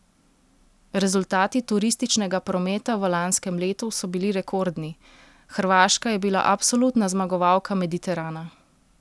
Rezultati turističnega prometa v lanskem letu so bili rekordni, Hrvaška je bila absolutna zmagovalka Mediterana!